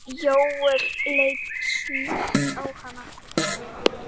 Jóel leit snöggt á hana.